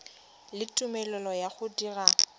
le tumelelo ya go dira